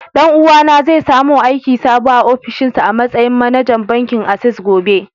Ɗan uwa na zai soma aiki a sabuwa ofishinsa a matsayin manajan bankin access gobe.